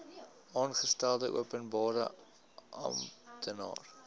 aangestelde openbare amptenaar